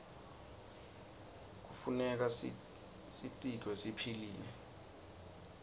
knefuneka sitiqure siphilile